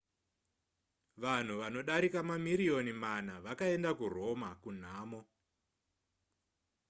vanhu vanodarika mamiriyoni mana vakaenda kuroma kunhamo